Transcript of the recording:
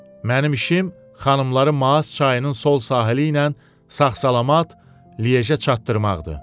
Mənim işim xanımları Maas çayının sol sahili ilə sağ-salamat Lyejə çatdırmaqdır.